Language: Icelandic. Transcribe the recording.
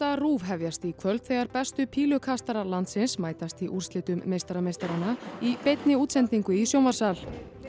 RÚV hefjast í kvöld þegar bestu landsins mætast í úrslitum meistara meistaranna í í sjónvarpssal